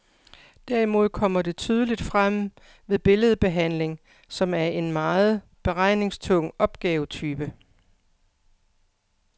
Derimod kommer det tydeligt frem ved billedbehandling, som er en meget beregningstung opgavetype.